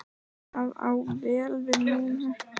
Það á vel við núna.